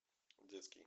детский